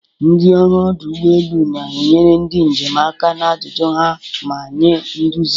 Ndị ọrụ ọdụ ụgbọ elu na-enyere ndị njem aka na ajụjụ ha ma nye nduzi.